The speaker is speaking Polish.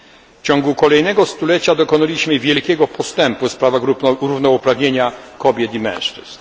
W ciągu kolejnego stulecia dokonaliśmy wielkiego postępu w sprawach równouprawnienia kobiet i mężczyzn.